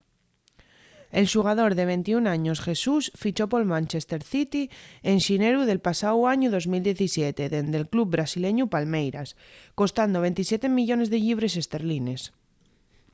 el xugador de 21 años jesus fichó pol manchester city en xineru del pasáu añu 2017 dende’l club brasileñu palmeiras costando 27 millones de llibres esterlines